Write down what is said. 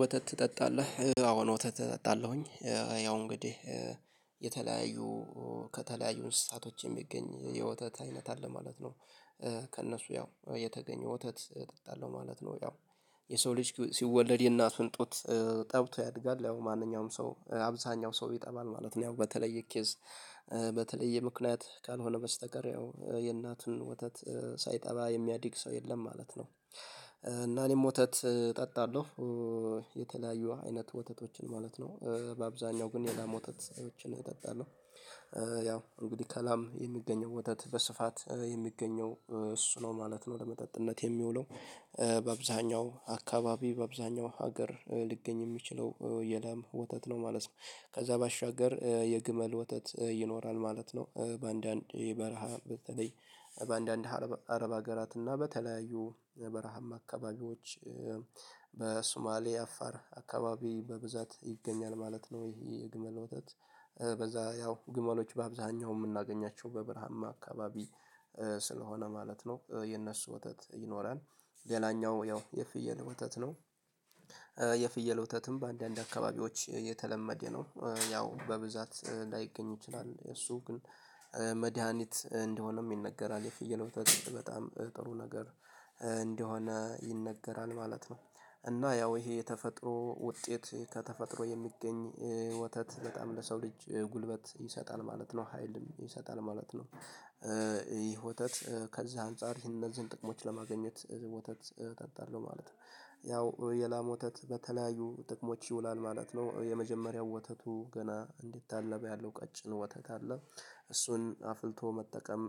ወተት ትጠጣለህ አዎ ወተት እጠጣለሁኝ። ያው እንግዲህ የተለያዩ ከተለያዩ እንስሳቶች የሚገኝ የወተት አይነት አለ ማለት ነው። ከእነሱ ያው የተገኘ ወተት እጠጣለሁ ማለት ነው። ያው የሰው ልጅ ሲወለድ የእናቱን ጡት ጠብቶ ያድጋል ያው ማንኛውም ሰው አብዛኛው ሰው ይጠባል ማለት ነው። ያው በተለየ ኬዝ በተለየ ምክንያት ካልሆነ በስተቀር ያው የእናቱን ወተት ሳይጠባ የሚያድግ ሰው የለም ማለት ነው። እና እኔም ወተት እጠጣለሁ። የተለያዩ አይነት ወተቶችን ማለት ነው በአብዛኛው ግን የላም ወተትቶችን እጠጣለው። ያው እንግዲህ ከላም የሚገኘው ወተት በስፋት የሚገኘው እሱ ነው ማለት ነው ለመጠጥነት የሚውለው። በአብዛኛው አካባቢ በአብዛኛው ሀገር ሊገኝ የሚችለው የላም ወተት ነው ማለት ነው። ከዛ ባሻገር የግመል ወተት ይኖራል ማለት ነው። በአንዳንድ የበረሃ በተለይ በአንዳንድ አረብ አገራት እና በተለያዩ በረሃማ አካባቢዎች። በሱማሌ አፋር አካባቢ በብዛት ይገኛል ማለት ነው። ይሄ የግመል ወተት። በዛ ያው ግመሎች በአብዛኛው የምናገኛቸው በበርሃማ አካባቢ። ስለሆነ ማለት ነው የነሱ ወተት ይኖረን። ሌላኛው ያው የፍየል ወተት ነው። የፍየል ወተትም በአንዳንድ አካባቢዎች የተለመደ ነው ያው በብዛት ላይገኝ ይችላል። የሱ ግን መድሃኒት እንደሆነም ይነገራል የፍየል ወተት በጣም ጥሩ ነገር እንደሆነ ይነገራል ማለት ነው። እና ያው ይሄ የተፈጥሮ ውጤት ከተፈጥሮ የሚገኝ ወተት በጣም ለሰው ልጅ ጉልበት ይሰጣል ማለት ነው ሀይልም ይሰጣል ማለት ነው። ይህ ወተት ከዚህ አንፃር እነዚህን ጥቅሞች ለማግኘት ወተት አጠጣለሁ ማለት ነው። ያው የላም ወተት በተለያዩ ጥቅሞች ይውላል ማለት ነው የመጀመሪያው ወተቱ ገና እንደታለበ ያለው ቀጭን ወተት አለ እሱን አፍልቶ መጠቀም።